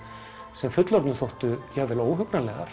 sem fullorðnum þóttu jafnvel